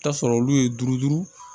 Taa sɔrɔ olu ye duuru duuru